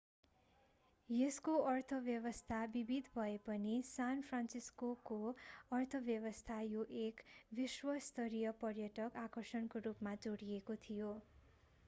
यसको अर्थव्यवस्था विविध भए पनि सान फ्रान्सिस्कोको अर्थव्यवस्था यो एक विश्व स्तरीय पर्यटक आकर्षणको रूपमा जोडिएको थियो